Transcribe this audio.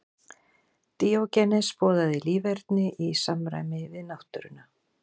Díógenes boðaði líferni í samræmi við náttúruna.